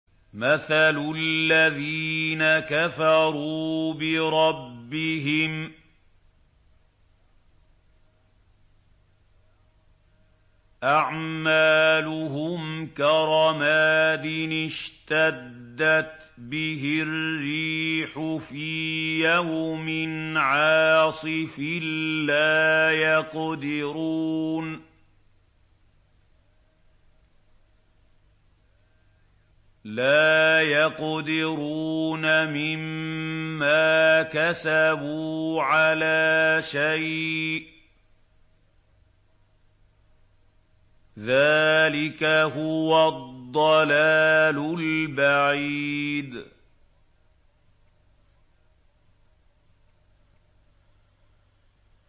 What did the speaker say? مَّثَلُ الَّذِينَ كَفَرُوا بِرَبِّهِمْ ۖ أَعْمَالُهُمْ كَرَمَادٍ اشْتَدَّتْ بِهِ الرِّيحُ فِي يَوْمٍ عَاصِفٍ ۖ لَّا يَقْدِرُونَ مِمَّا كَسَبُوا عَلَىٰ شَيْءٍ ۚ ذَٰلِكَ هُوَ الضَّلَالُ الْبَعِيدُ